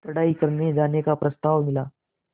पढ़ाई करने जाने का प्रस्ताव मिला